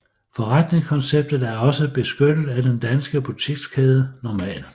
Forretningskonceptet er også benyttet af den danske butikskæde Normal